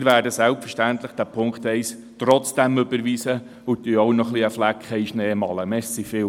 Wir werden den Punkt 1 selbstverständlich trotzdem überweisen und malen auch noch einen Flecken in den Schnee.